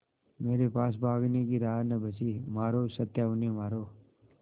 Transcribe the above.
मेरे पास भागने की राह न बची मारो सत्या उन्हें मारो